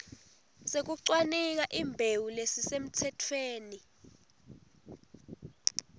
sekucwaninga imbewu lesisemtsetfweni